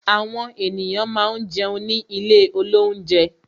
Àwọn ènìyàn máa ń jẹun ní ilé olounje